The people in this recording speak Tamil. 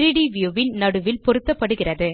3ட் வியூ ன் நடுவில் பொருத்தப்படுகிறது